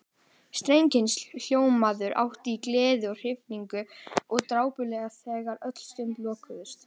Strengir hans hljómuðu hátt í gleði og hrifningu og dapurlega þegar öll sund lokuðust.